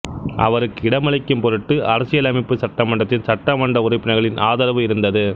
அவருக்கு இடமளிக்கும் பொருட்டு அரசியலமைப்பு சட்டமன்றத்தின் சட்டமன்ற உறுப்பினர்களின் ஆதரவு இருந்தது